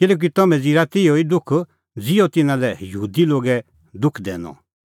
किल्हैकि तम्हैं ज़िरअ तिहअ ई दुख ज़िहअ तिन्नां लै यहूदी लोगै दुख दैनअ